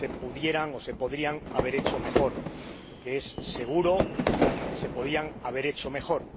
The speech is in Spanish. se podrían haber hecho mejor, que es seguro que se podrían haber hecho mejor.